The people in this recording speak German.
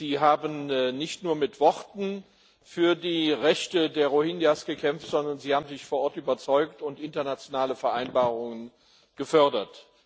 Sie haben nicht nur mit Worten für die Rechte der Rohingya gekämpft, sondern Sie haben sich vor Ort überzeugt und internationale Vereinbarungen gefördert.